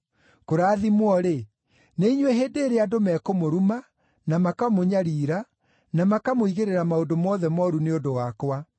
“Kũrathimwo-rĩ, nĩ inyuĩ hĩndĩ ĩrĩa andũ mekũmũruma, na makamũnyariira, na makamũigĩrĩra maũndũ mothe mooru nĩ ũndũ wakwa.